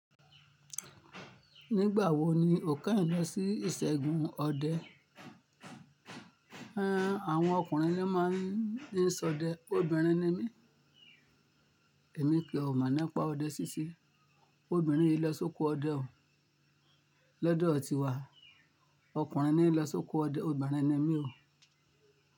Nígbà wo ni o keyin lọ sí ìṣègùn ọdẹ? Hhen, àwọn ọkùnrin ni wọ́n máa ń ní sọdẹ, obìnrin ni mí. Èmi kì í mọ̀ nípa ọdẹ síṣe. Obìnrin hin ló sóko ọdẹ o. Lodọ̀ọ̀ tiwa, ọkùnrin ni ló sóko ọdẹ, obìnrin ni mí o.